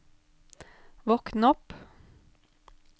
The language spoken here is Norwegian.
våkn opp